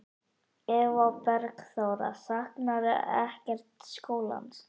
Eva Bergþóra: Saknarðu ekkert skólans?